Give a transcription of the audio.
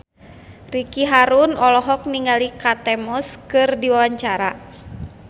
Ricky Harun olohok ningali Kate Moss keur diwawancara